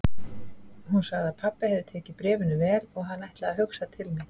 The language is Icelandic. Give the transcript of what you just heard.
Hún sagði að pabbi hefði tekið bréfinu vel og hann ætlaði að hugsa til mín.